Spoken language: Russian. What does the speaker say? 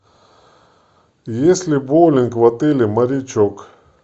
есть ли боулинг в отеле морячок